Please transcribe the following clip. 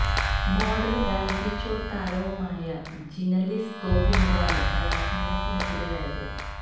മോഡലും reality show താരവുമായ Gina Lisa ഗോഫിങ്കാണ് ബലാത്സംഗത്തിന് ഇരയായത്